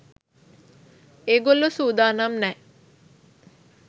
ඒගොල්ලො සූදානම් නෑ